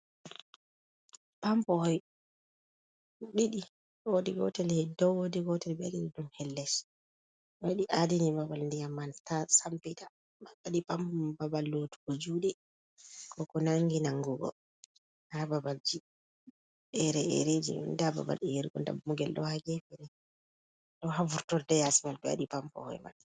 Pampo hoi ɗiɗi, wodi gotel hedi dow wodi gotel hedii dum ha les wadi adini babal ndiyam man ta sampita, ba ɓe wadi pampo babal lotugo juɗe, ko ko nangi nangugo ha babal ji ere erji nda babal yergo dammugel, do ha gefere do ha vurtorde yasi mai do hedi pampo hoy man.